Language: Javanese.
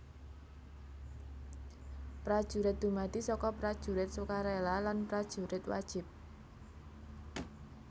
Prajurit dumadi saka Prajurit Sukarela lan Prajurit Wajib